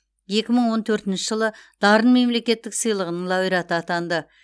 екі мың он төртінші жылы дарын мемлекеттік сыйлығының лауреаты атанды